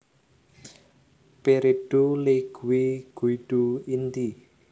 Peredo Leigue Guido Inti